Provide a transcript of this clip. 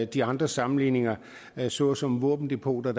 de andre sammenligninger såsom våbendepoter